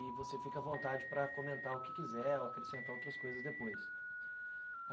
E você fica à vontade para comentar o que quiser ou acrescentar outras coisas depois.